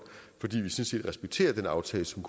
totusinde